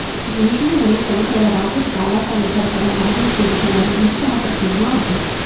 వేడి మరియు చెమట వల్ల రాత్రికి చాలా సార్లు గడపడం బాధించేదిగా మరియు నిరుత్సాహపరిచేదిగా ఉంటుంది